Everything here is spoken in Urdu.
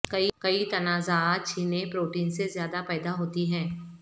کئی تنازعات چھینے پروٹین سے زیادہ پیدا ہوتی ہیں